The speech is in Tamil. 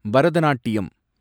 பரதநாட்டியம்